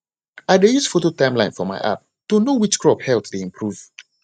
i dey use photo timeline for my app to know which crop health dey improve